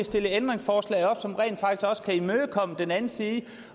stille et ændringsforslag op som rent faktisk også kan imødekomme den anden side af